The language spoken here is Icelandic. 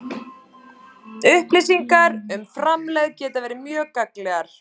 Upplýsingar um framlegð geta verið mjög gagnlegar.